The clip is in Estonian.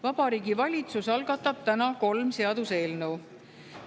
Vabariigi Valitsus algatab täna kolm seaduseelnõu.